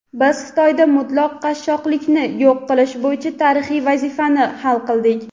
biz Xitoyda mutlaq qashshoqlikni yo‘q qilish bo‘yicha tarixiy vazifani hal qildik.